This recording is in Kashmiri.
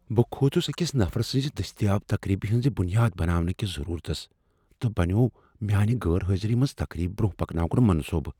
بہٕ كھوٗژٗس أکس نفرٕ سٕنٛز دستیابی تقریبہ ہٕنٛز بنیاد بناونٕہٕ كِس ضٔروٗرتس تہٕ بنووٗم میانہِ غٲر حٲضری منز تقریب برونہہ پكناونٗك منصوبہٕ ۔